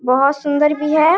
बोहोत सुन्दर भी है।